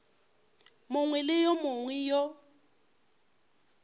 mongwe le yo mongwe yo